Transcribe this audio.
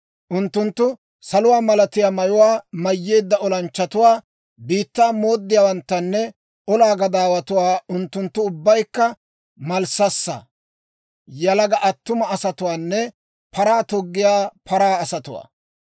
Unttunttu saluwaa malatiyaa mayuwaa mayyeedda olanchchatuwaa, biittaa mooddiyaawanttanne olaa gadaawatuwaa; unttunttu ubbaykka malssassaa, yalaga attuma asatuwaanne paraa toggiyaa paraa asatuwaa.